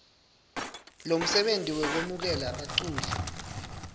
lomsebenti wekwemukela baculi